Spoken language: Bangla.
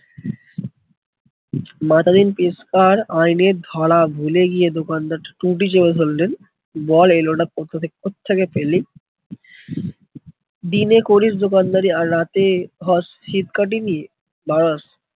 মাতাদিন পেশকার আইনের ধারা ভুলে গিয়ে দোকানদার টুঁটি চেপে ধরলেন। বল এই লোটা কততে কোথ থেকে পেলি? দিনে করিস দোকানদারি আর রাতে সিঁধ কাটিবি